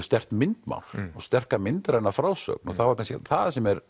sterkt myndmál og sterka myndræna frásögn og það er það sem